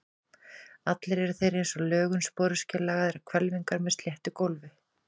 Allir eru þeir eins að lögun, sporöskjulagaðar hvelfingar með sléttu gólfi.